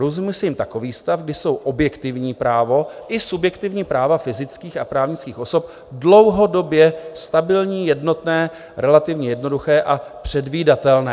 Rozumí se jím takový stav, kdy jsou objektivní právo i subjektivní práva fyzických a právnických osob dlouhodobě stabilní, jednotné, relativně jednoduché a předvídatelné."